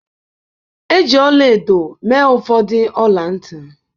Eji ọla-edo mee ụfọdụ ọla ntị